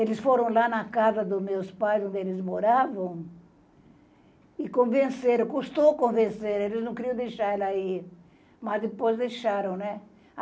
Eles foram lá na casa dos meus pais, onde eles moravam, e convenceram, custou convencer, eles não queriam deixar ela ir, mas depois deixaram, né?